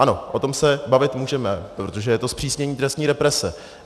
Ano, o tom se bavit můžeme, protože je to zpřísnění trestní represe.